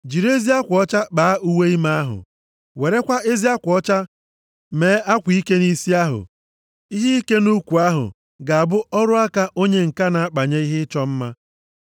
“Jiri ezi akwa ọcha kpaa uwe ime ahụ. Werekwa ezi akwa ọcha mee akwa ike nʼisi ahụ. Ihe ike nʼukwu ahụ ga-abụ ọrụ aka onye ǹka na-akpanye ihe ịchọ mma.